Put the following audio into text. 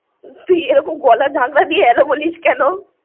তুই এরকম গলা ঝাকড়া দিয়ে hello বলিস কেন?